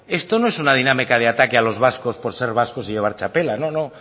esto no es una dinámica de ataque a los vascos por ser vascos y llevar txapela no no